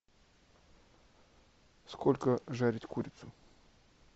сколько жарить курицу